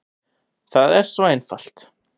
Það er svo einfalt.